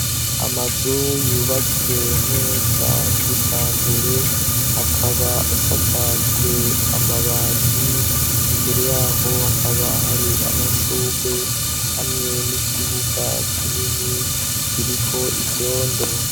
Amazu yubatswe neza kijambere, akaba asakajwe amabati. Imbere y'aho hakaba hari amashurwe hamwe n'ikibuga kinini kiriko ivyondo.